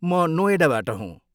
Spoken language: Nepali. म नोएडाबाट हुँ।